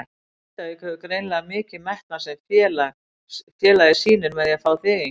Grindavík hefur greinilega mikinn metnað sem félagið sýnir með því að fá þig hingað?